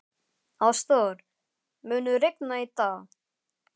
Ástþór, mun rigna í dag?